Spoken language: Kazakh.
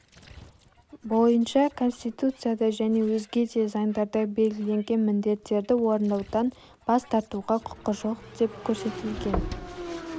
бойынша конституцияда және өзге де заңдарда белгіленген міндеттерді орындаудан бас тартуға құқы жоқ деп көрсетілген